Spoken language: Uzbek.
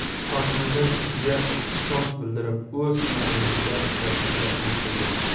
Hokimimiz bizga ishonch bildirib, o‘z tumanimizda ishlashni taklif qildi.